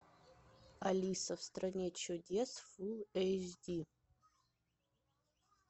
алиса в стране чудес фул эйч ди